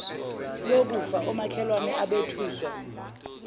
lokufa omakhelwane abethuswa